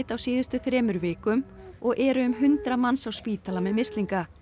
á síðustu þremur vikum og eru um hundrað manns á spítala með mislinga